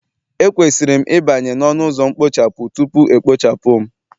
Ekwesịrị m ịbanye n'ọnụ ụzọ mkpochapụ, tupu e kpochapụ m.